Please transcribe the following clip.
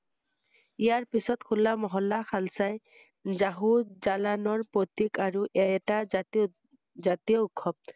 ইয়াৰ পিছত হোলা মহল্লা শালচাই জাহু জালানৰ প্ৰতীক আৰু এটা জাতিৰ জাতী~জাতীয় উৎসৱ ৷